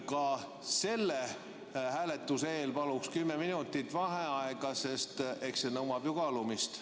Ka selle hääletuse eel paluks kümme minutit vaheaega, sest eks see nõuab ju kaalumist.